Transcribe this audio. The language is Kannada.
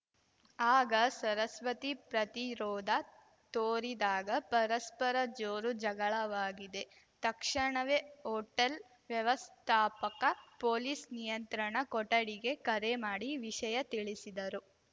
ಆಗ ಸರಸ್ವತಿ ಪ್ರತಿರೋಧ ತೋರಿದಾಗ ಪರಸ್ಪರ ಜೋರು ಜಗಳವಾಗಿದೆ ತಕ್ಷಣವೇ ಹೋಟೆಲ್‌ ವ್ಯವಸ್ಥಾಪಕ ಪೊಲೀಸ್‌ ನಿಯಂತ್ರಣ ಕೊಠಡಿಗೆ ಕರೆ ಮಾಡಿ ವಿಷಯ ತಿಳಿಸಿದರು